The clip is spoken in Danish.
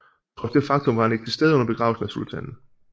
Trods det faktum var han ikke til stede under begravelsen af sultanen